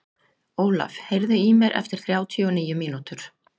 Ólaf, heyrðu í mér eftir þrjátíu og níu mínútur.